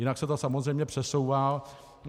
Jinak se to samozřejmě přesouvá.